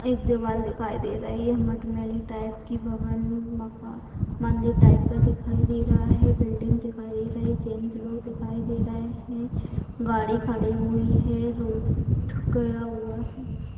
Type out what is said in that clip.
एक देवाल दिखाई दे रही है मट मैले टाइप की भवन मका मंदिर टाइप का दिखाई दे रहा है बिल्डिंग दिखाई दे रही जेंट्स लोग दिखाई दे रहा हैं गाड़ी खड़ी हुई है रोड गया हुआ है।